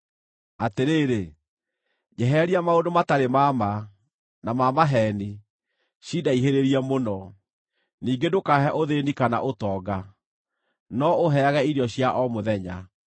Atĩrĩrĩ, njehereria maũndũ matarĩ ma ma, na ma maheeni, cindaihĩrĩrie mũno; ningĩ ndũkaahe ũthĩĩni kana ũtonga, no ũũheage irio cia o mũthenya.